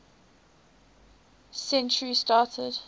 century started